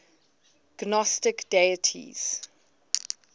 gnostic deities